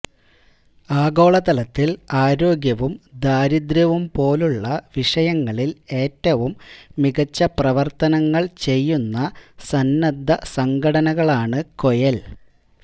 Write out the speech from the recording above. ആഗോള തലത്തിൽ ആരോഗ്യവും ദാരിദ്ര്യവും പോലുള്ള വിഷയങ്ങളിൽ ഏറ്റവും മികച്ച പ്രവർത്തനങ്ങൾ ചെയ്യുന്ന സന്നദ്ധ സംഘടനകളാണ് ക്വെയെൽ